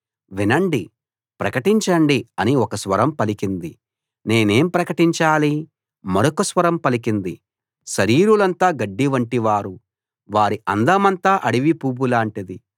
వినండి ప్రకటించండి అని ఒక స్వరం పలికింది నేనేం ప్రకటించాలి మరొక స్వరం పలికింది శరీరులంతా గడ్డివంటివారు వారి అందమంతా అడవి పువ్వులాటిది